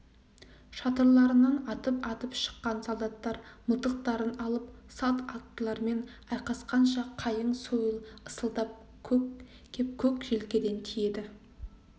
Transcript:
шатырларынан атып-атып шыққан солдаттар мылтықтарын алып салт аттылармен айқасқанша қайың сойыл ысылдап кеп көк желкеден тиеді